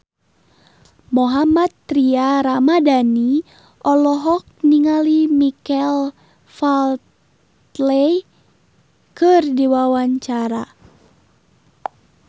Mohammad Tria Ramadhani olohok ningali Michael Flatley keur diwawancara